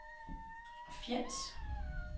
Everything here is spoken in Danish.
Fjends